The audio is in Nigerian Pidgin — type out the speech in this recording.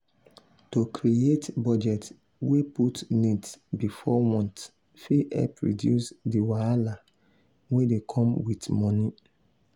to create budget wey put needs before wants fit help reduce di wahala wey dey come with money.